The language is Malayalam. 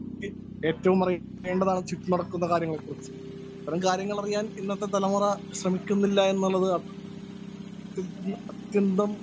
സ്പീക്കർ 1 ഏറ്റവും അറിയേണ്ടതാണ് ചുറ്റും നടക്കുന്ന കാര്യങ്ങളെ കുറിച്ച്. ഇത്തരം കാര്യങ്ങളറിയാന്‍ ഇന്നത്തെ തലമുറ ശ്രമിക്കുന്നില്ല എന്നുള്ളത് അത്യ അത്യന്തം